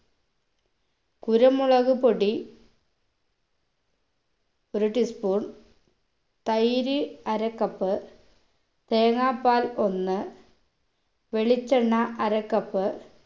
കുരുമുളക് പൊടി ഒരു tea spoon തൈര് അര cup തേങ്ങാപാൽ ഒന്ന് വെളിച്ചെണ്ണ അര cup